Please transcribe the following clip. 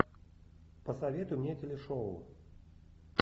посоветуй мне телешоу